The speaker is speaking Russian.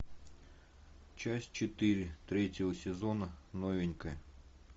часть четыре третьего сезона новенькая